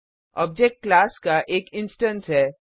object class का एक instance है